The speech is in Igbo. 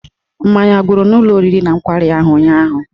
Mmanya agwụrụ n'ụlọ oriri na nkwari ahụ ụnyaahụ?